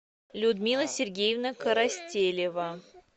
людмила сергеевна коростелева